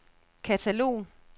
katalog